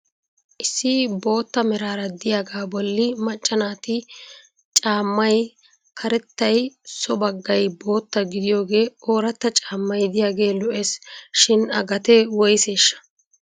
Issi bootta meraara diyagaa bolli macca naati caammay karettay so baggay bootta gidiyoogee ooratta caammay diyagee lo'es. Shin a gatee woyseshsha?